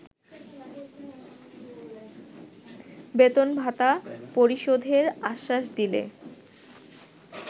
বেতন-ভাতা পরিশোধের আশ্বাস দিলে